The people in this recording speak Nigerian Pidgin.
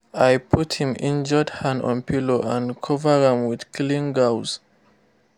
i put him injured hand on pillow and cover am with clean gauze.